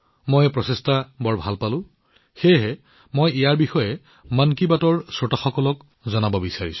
মই এই প্ৰচেষ্টাটো বহুত ভাল পাইছো সেয়েহে মই ভাবিলো মই ইয়াক মন কী বাতৰ শ্ৰোতাসকলৰ সৈতে ভাগবতৰা কৰিম